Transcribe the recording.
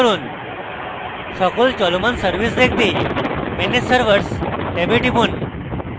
সকল চলমান servers দেখতে manage servers ট্যাবে টিপুন